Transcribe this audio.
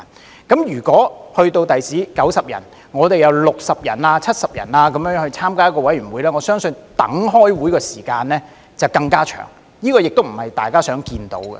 將來的議員人數增加至90人後，如果有60人、70人參加委員會的話，我相信等待開會的時間會更長，這亦不是大家想看到的。